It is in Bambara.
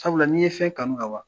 Sabula n'i ye fɛn kanu ka ban